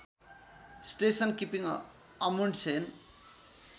station keeping Amundsen